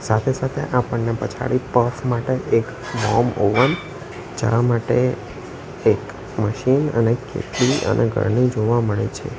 સાથે-સાથે આપણને પછાડી પફ માટે એક મોમ ઓવન ચા માટે એક મશીન અને કિટલી અને ગરણી જોવા મળે છે.